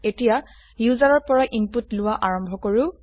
এতিয়া ইউজাৰৰ পৰা ইনপুট লোৱা আৰম্ভ কৰো